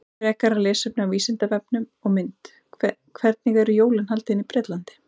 Frekara lesefni á Vísindavefnum og mynd Hvernig eru jólin haldin í Bretlandi?